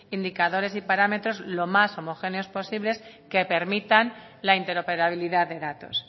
indicadores y parámetros lo más homogéneos posibles que permitan la interoperabilidad de datos